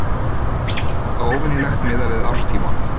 Þykir þetta óvenjulegt miðað við árstíma